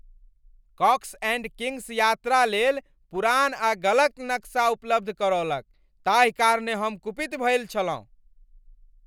COX and Kings यात्रा लेल पुरान आ गलत नक्शा उपलब्ध करौलक ताहि कारणेँ हम कुपित भेल छलहुँ।